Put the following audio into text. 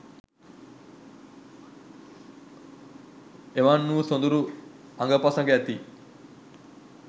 එවන් වූ සොඳුරු අඟපසඟ ඇති